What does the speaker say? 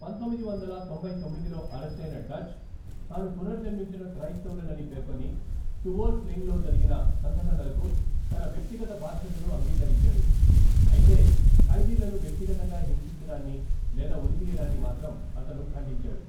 పంతొమ్మిది వందల తొంభై తొమ్మిదిలో అరెస్టయిన డచ్, తాను పునర్జన్మించిన క్రైస్తవుడనని పేర్కొని, టువోల్ స్లెంగ్లో జరిగిన సంఘటనలకు తన వ్యక్తిగత బాధ్యతను అంగీకరించాడు, అయితే ఖైదీలను వ్యక్తిగతంగా హింసించడాన్ని లేదా ఉరితీయడాన్ని మాత్రం అతను ఖండించాడు.